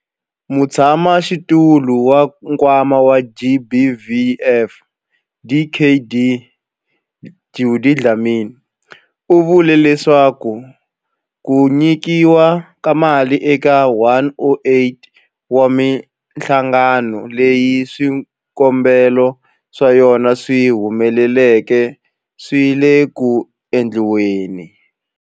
Mutshamaxitulu wa Nkwama wa GBVF, Dkd Judy Dlamini, u vule leswaku ku nyikiwa ka mali eka 108 wa mihlangano leyi swikombelo swa yona swi humeleleke swi le ku endliweni.